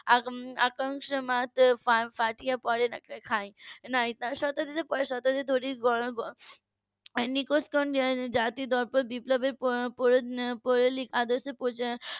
আকা ~ আকাঙ্খা .